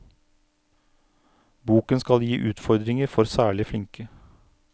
Boken skal gi utfordringer for særlig flinke.